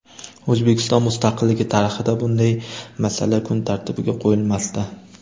O‘zbekiston mustaqilligi tarixida bunday masala kun tartibiga qo‘yilmasdi.